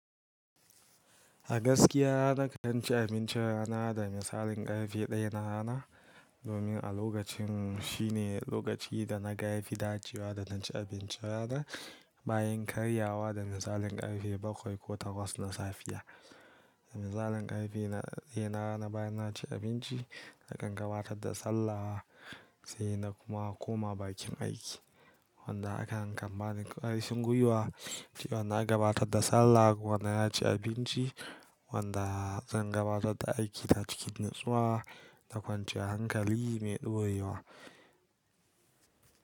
A gaskiya nakan ci abincin rana da misalin ƙarfe ɗaya na rana domin a lokacin shine lokaci da na ga fi dacewa da na ci abinci rana bayan karyawa da misalin ƙarfe bakwai ko takwas na safiya. Da misalin ƙarfe na daya bayan na ci abinci nakan gabatar da sallah sai na kuma koma bakin aiki wanda hakan kan bani karfin gwiwa cewa na gabatar da sallah kuma na ci abinci wanda zan gabatar da aiki ta cikin natsuwa da kwanciya hankali mai ɗorewa.